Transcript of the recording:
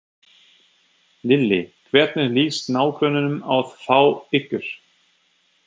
Lillý: Hvernig lýst nágrönnunum á að fá ykkur?